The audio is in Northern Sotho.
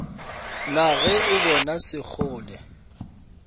na ge o bona sekgole